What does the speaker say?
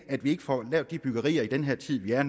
at vi ikke får lavet de byggerier i den her tid vi er